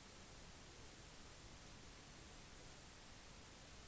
hjemmesiden til big brother